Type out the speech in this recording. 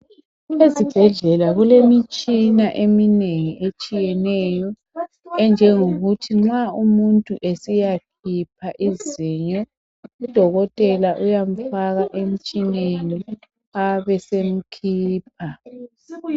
Ezibhedlela kulemitshina eminengi etshiyeneyo .Enjengokuthi nxa umuntu esiyakhipha izinyo .Udokotela uyamfaka emtshineni abesemkhipha.